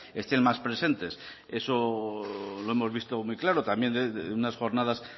estén más presentes eso lo hemos visto muy claro también en unas jornadas